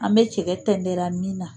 An bɛ cɛkɛ tɛndɛra min na.